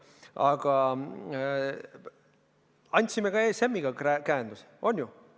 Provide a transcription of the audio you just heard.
Aga me andsime ka ESM-iga käenduse, on ju?